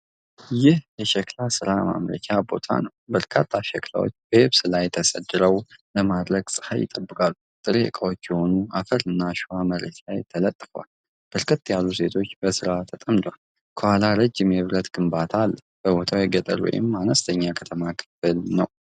ይህ የሸክላ ሥራ ማምረቻ ቦታ ነው። በርካታ ሸክላዎች በየብስ ላይ ተሰድረው ለማድረቅ ፀሐይ ይጠብቃሉ። ጥሬ ዕቃዎች የሆኑ አፈርና አሸዋ መሬት ላይ ተነጥፈዋል። በርከት ያሉ ሴቶች በሥራው ተጠምደዋል። ከኋላ ረጅም የብረት ግንባታ አለ። ቦታው የገጠር ወይም የአነስተኛ ከተማ ክፍል ነው።